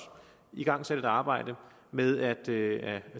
igangsat et arbejde med at